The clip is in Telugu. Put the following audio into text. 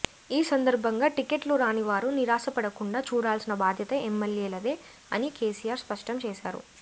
ఈ సందర్భంగా టికెట్లు రాని వారు నిరాశపడకుండా చూడాల్సిన బాధ్యత ఎమ్మెల్యేలదే అని కేసీఆర్ స్పష్టం చేశారు